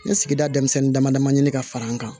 N ye sigida denmisɛnnin dama dama ɲini ka fara n kan